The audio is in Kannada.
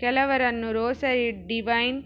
ಕೆಲವರನ್ನು ರೋಸರಿ ಡಿವೈನ್